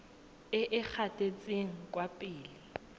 e e gatetseng kwa pele